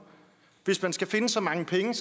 hvis man skal finde så mange penge